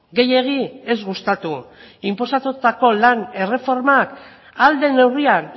gehiegi ez gustatu inposatutako lan erreformak ahal den neurrian